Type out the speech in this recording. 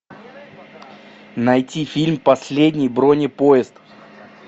найти фильм последний бронепоезд